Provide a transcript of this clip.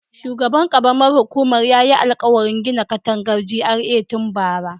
Shugaban karamar hukumar yayi alkawarin gina katangar GRA tun bara